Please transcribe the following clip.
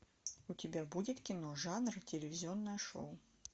у тебя будет кино жанр телевизионное шоу